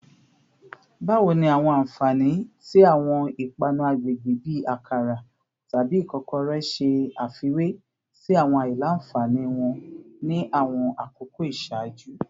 Bawo ni awọn anfani ti awọn ipanu agbegbe bi akara tabi ikokore ṣe afiwe si awọn alailanfani wọn ni awọn akoko iṣaaju?